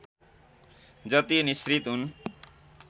जति निसृत हुन्